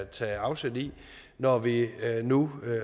tage afsæt i når vi nu